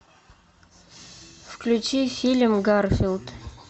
включи фильм гарфилд